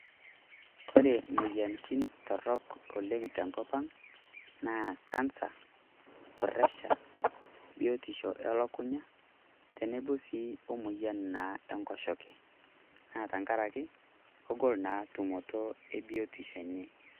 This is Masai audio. Kore moyianitin torrok oleng te nkopang naa kansa, presha, biotisho e olkunyaa teneboo sii o moyian naa e nkosheke. Naa tang'araki kegol naa tumotoo e biotisho enyee.